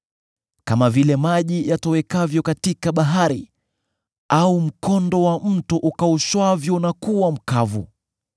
Kama vile maji yatowekavyo katika bahari, au mkondo wa mto ukaushwavyo na kuwa mkavu,